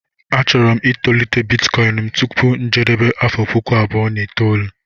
Achọrọ m itolite Bitikoin m tupu njedebe n' afọ puku abụọ na itoolu